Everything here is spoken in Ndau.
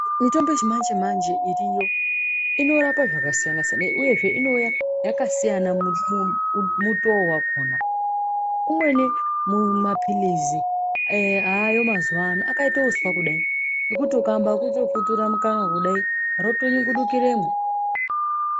Mitombo yechimanje manje iriyo inorape zvakasiyana siyana Uyezve ino yakasiyana mumu mutoo wakhona imweni mumapilizi ee ayo mazuwa ano akaite uswa kudai ekuti ukaambe ekutokutura mukanwa kudai rotonyungurukiremwo.